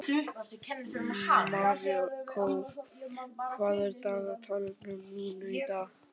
Marikó, hvað er í dagatalinu mínu í dag?